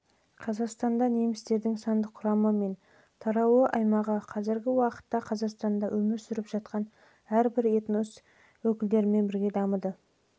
қазақстанда немістердің сандық құрамы мен таралу аймағы қазіргі уақытта қазақстанда өмір сүріп жатқан әрбір өзге этнос